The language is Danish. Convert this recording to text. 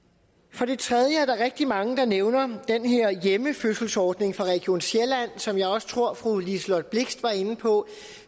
for det tredje er der rigtig mange der nævner den her hjemmefødselsordning for region sjælland som jeg også tror fru liselott blixt var inde på